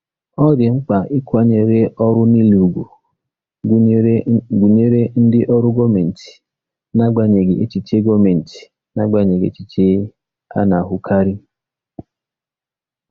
Ọ dị mkpa ịkwanyere ọrụ niile ùgwù, gụnyere ndị ọrụ gọọmentị, n'agbanyeghị echiche gọọmentị, n'agbanyeghị echiche a na-ahụkarị.